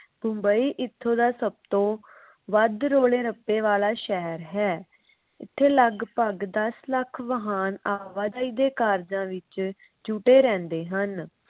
ਬੰਬਈ ਇਥੋਂ ਦਾ ਸਭ ਤੋਂ ਵੱਧ ਰੋਲੇ ਰੱਪੇ ਵਾਲਾ ਸ਼ਹਿਰ ਹੈ। ਇਥੇ ਲਗਪਗ ਦਸ ਲੱਖ ਵਾਹਨ ਆਵਾਜਾਈ ਦੇ ਕਾਰਜ ਵਿੱਚ ਜੁਟੇ ਰਹਿੰਦੇ ਹਨ ।